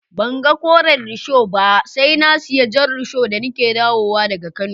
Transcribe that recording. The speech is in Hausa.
Ban gan Koren risho ba sai na siya Jan risho da ni ke dawo wa da ga kano.